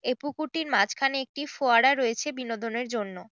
এই পুকুরটির মাঝ খানে একটি ফোয়ারা রয়েছে বিনোদনের জন্য।